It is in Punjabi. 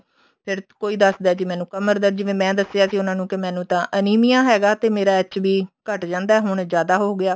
ਫੇਰ ਕੋਈ ਦੱਸ ਦਾ ਜੀ ਮੈਨੂੰ ਕਮਰ ਦਰਦ ਜਿਵੇਂ ਮੈਂ ਦੱਸਿਆ ਸੀ ਉਹਨਾ ਨੂੰ ਜੀ ਮੈਨੂੰ ਤਾਂ ਅਨੀਮੀਆ ਹੈਗਾ ਤੇ ਮੇਰਾ HB ਘੱਟ ਜਾਂਦਾ ਹੁਣ ਜਿਆਦਾ ਹੋਗਿਆ